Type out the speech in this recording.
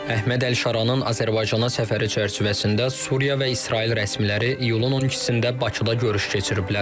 Əhməd əl-Şaranın Azərbaycana səfəri çərçivəsində Suriya və İsrail rəsmiləri iyulun 12-də Bakıda görüş keçiriblər.